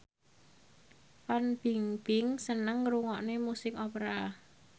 Fan Bingbing seneng ngrungokne musik opera